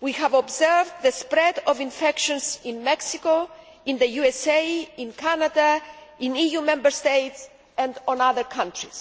we have observed the spread of infections in Mexico, in the USA, in Canada, in EU Member States and in other countries.